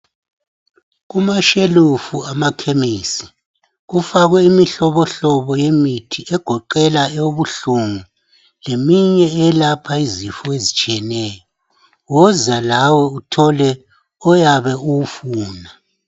Kumashelufu amakhemisi kufakwe imihlobohlobo yemithi egoqela eyobuhlungu leminye eyelapha izifo ezitshiyeneyo, woza lawe uthole oyabe uwufuna.